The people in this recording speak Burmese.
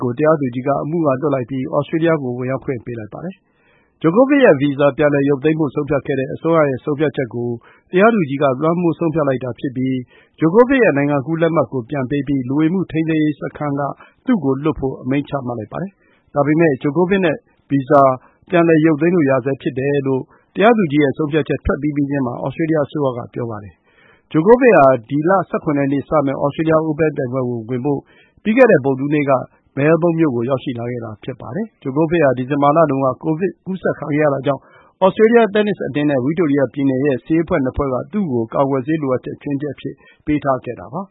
ကို တရားသူကြီးက အမှုက လွှတ်လိုက်ပြီး Australia ကို ဝင်ရောက်ခွင့် ပေးလိုက်ပါတယ်။ ဂျိုကိုဗစ်ရဲ့ဗီဇာကို ပြန်လည်ရုပ်သိမ်းဖို့ ဆုံးဖြတ်ခဲ့တဲ့အစိုးရရဲ့ဆုံးဖြတ်ချက်ကို တရားသူကြီးက လွှမ်းမိုးဆုံးဖြတ်လိုက်တာဖြစ်ပြီး ဂျိုကိုဗစ်ရဲ့ နိုင်ငံကူးလက်မှတ်ကိုပြန်ပေးပြီး လူဝင်မှုထိန်းသိမ်းရေးစခန်းက သူ့ကိုလွှတ်ဖို့ အမိန့်ချမှတ်လိုက်ပါတယ်။ ဒါပေမဲ့ ဂျိုကိုဗစ်ရဲ့ဗီဇာကို ပြန်လည်ရုပ်သိမ်းလို့ရဆဲဖြစ်တယ်လို့ တရားသူကြီးရဲ့ဆုံးဖြတ်ချက် ထွက်ပြီးပြီးချင်းမှာ Australia အစိုးရက ပြောပါတယ်။ ဂျိုကိုဗစ်ဟာ ဒီလ ၁၇ ရက်နေ့မှာစမယ့် Australia Open ပြိုင်ပွဲဝင်ဖို့ ပြီးခဲ့တဲ့ ဗုဒ္ဓဟူးနေ့ က မဲဘုန်းမြို့ကို ရောက်ရှိလာခဲ့တာပါ။ ဂျိုကိုဗစ်ဟာ ဒီဇင်ဘာလတုန်းက ကိုဗစ်ကူးစက် ခံခဲ့ရတာကြောင့် Australia တင်းနစ်အသင်းနဲ့ ဝိတိုရိယပြည်နယ်ရဲ့ဆေးအဖွဲ့ ၂ ဖွဲ့ က သူ့ကို ကာကွယ်ဆေးလိုအပ်ချက် ချွင်းချက်အဖြစ်ပေးထားခဲ့တာပါ